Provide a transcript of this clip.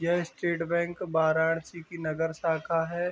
यह state bank Varanasi की नगर शाखा का है।